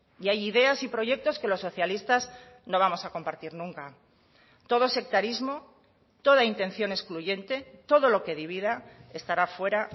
y hay ideas y proyectos que los socialistas no vamos a compartir nunca todo sectarismo toda intención excluyente todo lo que divida estará fuera